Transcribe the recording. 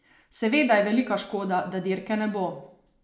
Seveda je velika škoda, da dirke ne bo.